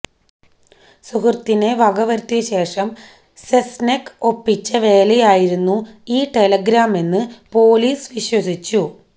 സുഹൃത്തിനെ വക വരുത്തിയ ശേഷം സെസ്നെക് ഒപ്പിച്ച വേലയായിരുന്നു ഈ ടെലിഗ്രാമെന്ന് പോലീസ് വിശ്വസിച്ചു